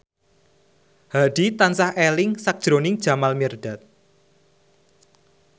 Hadi tansah eling sakjroning Jamal Mirdad